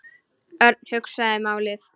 Örn hugsaði málið.